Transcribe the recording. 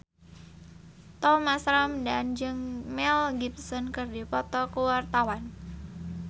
Thomas Ramdhan jeung Mel Gibson keur dipoto ku wartawan